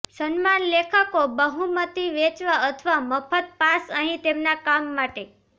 સન્માન લેખકો બહુમતી વેચવા અથવા મફત પાસ અહીં તેમના કામ માટે